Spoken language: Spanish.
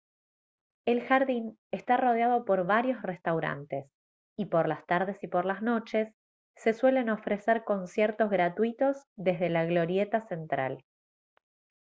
el jardín está rodeado por varios restaurantes y por las tardes y por las noches se suelen ofrecer conciertos gratuitos desde la glorieta central